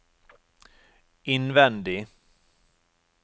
innvendig